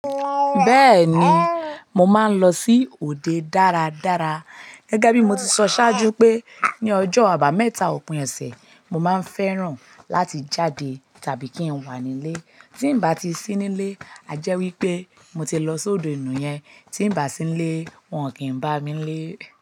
Bẹ́ẹ̀ni, mo máa ń lọ sí òde dára dára gẹ́gẹ́ bí mo ti sọ sáájú pé ní ọjọ́ àbámẹ́ta òpin ọ̀sẹ̀, mo máa ń fẹ́ràn láti jáde tàbí kí n wà nílé. Tí n bá ti sí nílé, a jẹ́ wí pé mo ti lọ sóde ní yẹn, tí n bá sí nílé, wọ́n kì í bá mi lé.